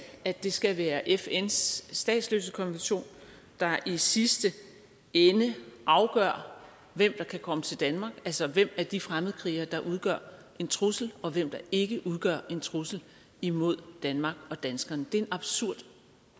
at det skal være fns statsløsekonvention der i sidste ende afgør hvem der kan komme til danmark altså hvem af de fremmedkrigere der udgør en trussel og hvem der ikke udgør en trussel imod danmark og danskerne det er en absurd